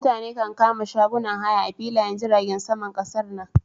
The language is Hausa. Mutane kan kama shagunan haya a filayen jiragen saman kasar nan.